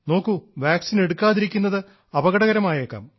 നോക്കൂ വാക്സിൻ എടുക്കാതിരിക്കുന്നത് അപകടകരമായേക്കാം